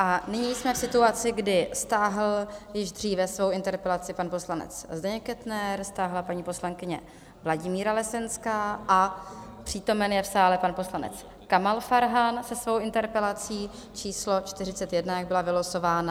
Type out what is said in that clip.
A nyní jsme v situaci, kdy stáhl již dříve svou interpelaci pan poslanec Zdeněk Kettner, stáhla paní poslankyně Vladimíra Lesenská a přítomen je v sále pan poslanec Kamal Farhan se svou interpelací číslo 41, jak byla vylosována.